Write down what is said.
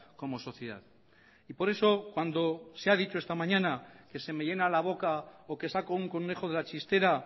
como sociedad y por eso cuando se ha dicho esta mañana que se me llena la boca o que saco un conejo de la chistera